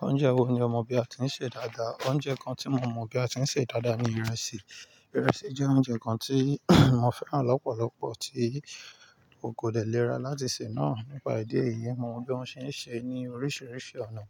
Oúnjẹ wo ni ọmọ bí a ti ń sè dáadáa? Oúnjẹ kan tí mo mọ̀ bí a ti ń sè dáadáa ni ìrẹsì. Ìrẹsì jẹ́ oúnjẹ kan tí mo fẹ́ràn lọ́pọ̀lọpọ̀ tí o kò dẹ́lẹ̀ nira láti sè náà. Nípa ìdí èyí, mo mọ̀ bí wọ́n ṣe ń sè é ní oríṣiríṣi ọ̀nà.